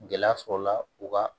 Gɛlɛya sɔrɔ la u ka